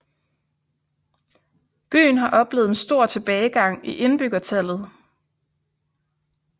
Byen har oplevet en stor tilbagegang i indbyggertallet